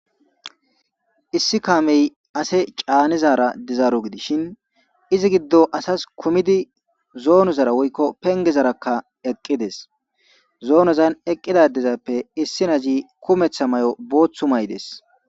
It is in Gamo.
issi kaamey ase caanizara dizaaro gidishin izi giddo asas kumidi zoonozara woykko pengezarakka eqqides zoonozan eqqidadezappe issi nazi kumetha may7o booththu maydes